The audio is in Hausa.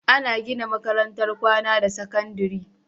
Ana gina makarantar kwAna ta sakandari